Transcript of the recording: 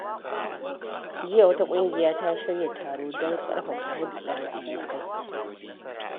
Jiya, wata ƙungiya ta shirya taro don ƙarfafa hulɗar abokai.